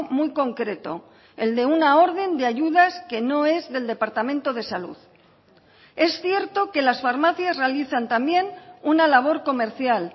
muy concreto el de una orden de ayudas que no es del departamento de salud es cierto que las farmacias realizan también una labor comercial